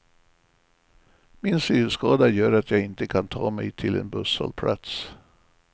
Min synskada gör att jag inte kan ta mig till en busshållplats.